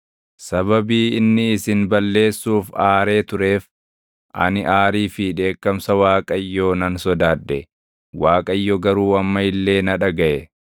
Sababii inni isin balleessuuf aaree tureef, ani aarii fi dheekkamsa Waaqayyoo nan sodaadhe. Waaqayyo garuu amma illee na dhagaʼe.